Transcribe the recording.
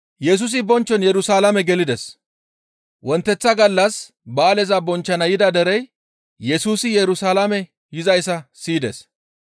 Wonteththa gallas ba7aaleza bonchchana yida derey Yesusi Yerusalaame yizayssa siyides.